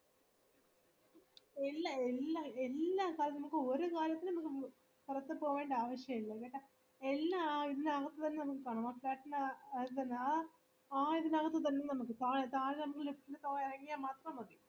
എല്ലാം എല്ലാം എല്ലാം ഒരു കാര്യത്തിനു പുറത്തു പോകണ്ടേ ആവിശ്യമില്ല കേട്ടാ എല്ലാം ഇതിനകത് തന്നെ ഉണ്ട് ആ ഇതിനകത് തന്നെ നമ്മക്ക് താഴെ താഴെ lift ൽ ഇറങ്ങിയ മാത്രം മതി